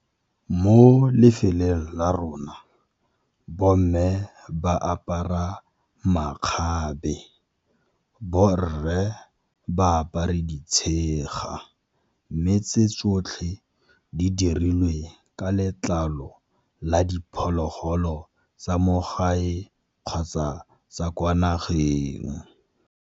Mo lefelong la rona bomme ba apara makgabe, borre ba apare ditshega. Mme tse tsotlhe di dirilwe ka letlalo la diphologolo tsa mo gae kgotsa tsa kwa nageng.